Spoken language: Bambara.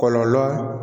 Kɔlɔlɔ